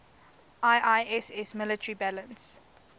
iiss military balance